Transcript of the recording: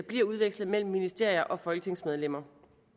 bliver udvekslet mellem ministerier og folketingsmedlemmer